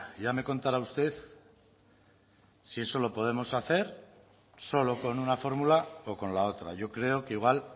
ya me contará a usted si eso lo podemos hacer solo con una fórmula o con la otra yo creo que igual